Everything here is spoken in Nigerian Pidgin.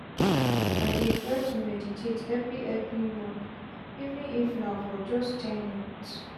i dey try to meditate everi everi mornin even if na for just ten minutes.